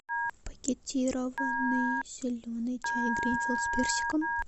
пакетированный зеленый чай гринфилд с персиком